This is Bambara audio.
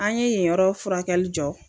An ye yenyɔrɔ furakɛli jɔ